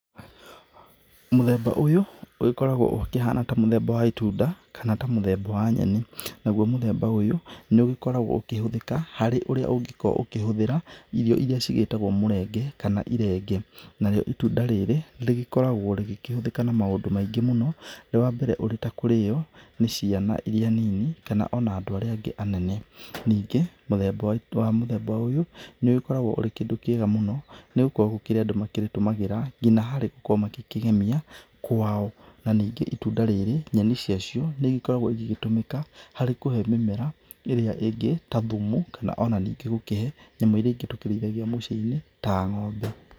Mũthemba ũyũ ũgĩkoragwo ũkĩhana ta mũthemba wa ĩtunda kana ta mũthemba wa nyenĩ. Naguo mũthemba ũyũ nĩ ũgĩkoragwo ũkĩhũthĩka harĩ ũrĩa ũngĩkorwo ũkĩhũthĩra irio iria cigĩtagwo mũrenge kana ũrenge. Narĩo ĩtunda rĩrĩ rĩgĩkoragwo rĩgĩkĩhũthĩka na maũndũ maingĩ mũno, wa mbere ũrĩ ta kũrĩyo nĩ ciana iria nini kana ona andũ arĩa angĩ anene. Ningĩ mũthemba ũyũ nĩ ũkoragwo ũrĩ kĩndũ kĩega mũno nĩgũkorwo nĩ kũrĩ andũ makĩrĩtũmagĩra ngina harĩ gukorwo magĩkĩgemia kwao. Na ningĩ ĩtunda rĩrĩ, nyeni ciacio nĩ ĩgĩkoragwo ĩgĩgĩtũmĩka harĩ kũhe mĩmera ĩrĩa ĩngĩ ta thumu kana onanĩngĩ gũkĩhe nyamũ iria ĩngĩ tũkĩrĩithagia mũcĩ-inĩ ta ng'ombe.